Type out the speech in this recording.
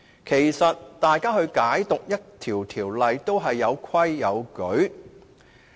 其實，大家解讀條例都應有規有矩。